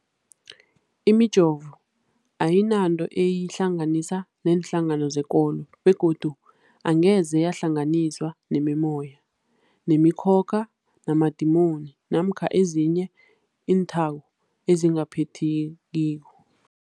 Imijovo ayinanto eyihlanganisa neenhlangano zekolo begodu angeze yahlanganiswa nemimoya, nemi khokha, namadimoni namkha ezinye iinthako ezingaphathekiko.